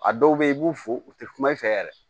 A dɔw bɛ yen i b'u fo u tɛ kuma i fɛ yɛrɛ